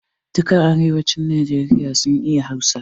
Duka mutanen Arewacin Najeriya sun iya Hausa.